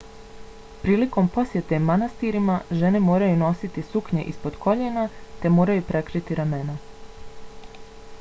prilikom posjete manastirima žene moraju nositi suknje ispod koljena te moraju prekriti ramena